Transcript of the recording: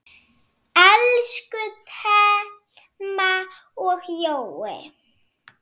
Elsku Thelma og Jói.